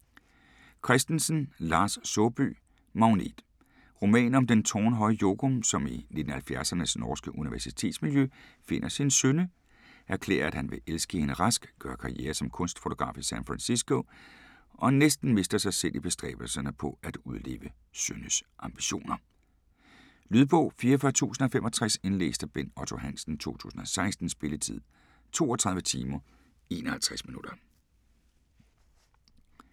Christensen, Lars Saabye: Magnet Roman om den tårnhøje Jokum, som i 1970'ernes norske universitetsmiljø finder sin Synne, erklærer, at han vil elske hende rask, gør karriere som kunstfotograf i San Fransisco, og næsten mister sig selv i bestræbelserne på at udleve Synnes ambitioner. Lydbog 44065 Indlæst af Bent Otto Hansen, 2016. Spilletid: 32 timer, 51 minutter.